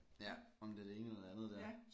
Ja om det er det ene eller det andet dér